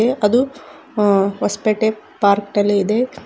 ಅದು ಆ ಹೊಸಪೇಟೆ ಪಾರ್ಕ್ ಇದೆ.